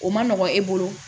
O ma nɔgɔn e bolo